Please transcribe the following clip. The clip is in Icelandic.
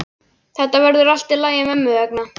Þetta verður allt í lagi mömmu vegna.